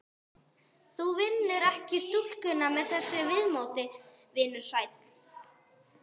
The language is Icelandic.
Þú vinnur ekki stúlkuna með þessu viðmóti, vinur sæll.